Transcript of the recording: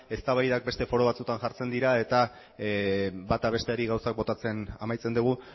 eztabaidak beste foro batzutan jartzen dira eta bata besteari gauzak botatzen amaitzen dugu